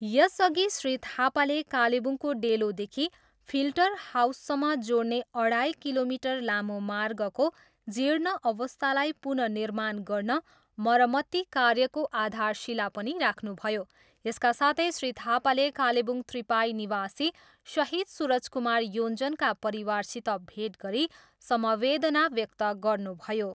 यसअघि श्री थापाले कालेबुङको डेलोदेखि फिल्टर हाउससम्म जोड्ने अढाई किलोमिटर लामो मार्गको जीर्ण अवस्थालाई पुनः निर्माण गर्न मर्मती कार्यको आधारशिला पनि राख्नुभयो, यसका साथै श्री थापाले कालेबुङ त्रिपाई निवासी सहिद सूरज कुमार योञ्जनका परिवारसित भेट गरी संवेदना व्यक्त गर्नुभयो।